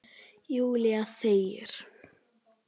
Júlía þegir.